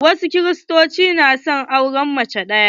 Wasu Kiristocin na auren mace ɗaya.